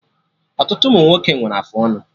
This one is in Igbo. Ọtụtụ ụmụnwoke nwere afụ ọnụ